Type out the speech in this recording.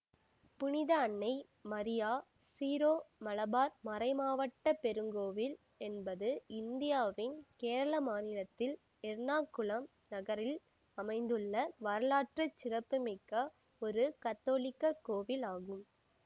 புனித அன்னை மரியா சீரோமலபார் மறைமாவட்ட பெருங்கோவில் என்பது இந்தியாவின் கேரள மாநிலத்தில் எர்ணாகுளம் நகரில் அமைந்துள்ள வரலாற்று சிறப்பு மிக்க ஒரு கத்தோலிக்க கோவில் ஆகும்